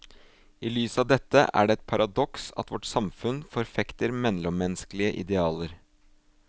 I lys av dette er det et paradoks at vårt samfunn forfekter mellommenneskelige idealer.